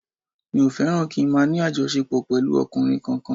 Mi ò fẹ́ràn kí n máa ní àjọṣepọ̀ pẹ̀lú ọkùnrin kankan